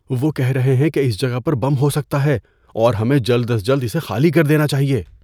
وہ کہہ رہے ہیں کہ اس جگہ پر بم ہو سکتا ہے اور ہمیں جلد از جلد اسے خالی کر دینا چاہیے۔